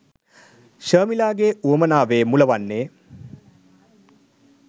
ශර්මිලාගේ වුවමනාවේ මුල වන්නේ